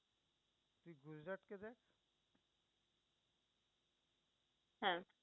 হ্যাঁ